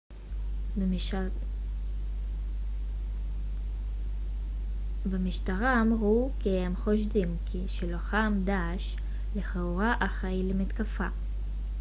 במשטרה אמרו כי הם חושדים כי שלוחם דעאש לכאורה אחראי למתקפה